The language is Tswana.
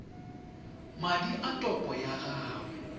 madi a topo ya gago